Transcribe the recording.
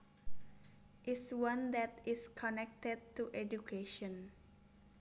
is one that is connected to education